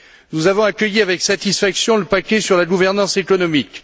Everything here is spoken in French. Nous avons accueilli avec satisfaction le paquet sur la gouvernance économique.